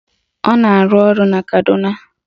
Ọ na-arụ ọrụ na Kaduna